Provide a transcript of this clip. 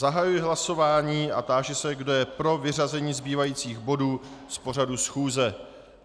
Zahajuji hlasování a táži se, kdo je pro vyřazení zbývajících bodů z pořadu schůze.